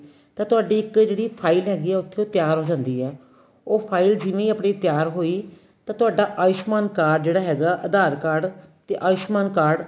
ਤਾਂ ਤੁਹਾਡੀ ਇੱਕ ਜਿਹੜੀ file ਹੈਗੀ ਏ ਉੱਥੇ ਤਿਆਰ ਹੋ ਜਾਂਦੀ ਏ ਉਹ file ਜਿੰਨੀ ਆਪਣੀ ਤਿਆਰ ਹੋਈ ਤਾਂ ਤੁਹਾਡਾ ਆਉਸ਼ਮਾਨ card ਜਿਹੜਾ ਹੈਗਾ dear card ਤੇ ਆਉਸ਼ਮਾਨ card